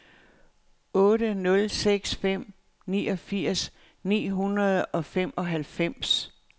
otte nul seks fem niogfirs ni hundrede og femoghalvfems